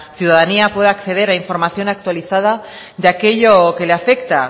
ciudadanía pueda acceder a información actualizada de aquello que le afecta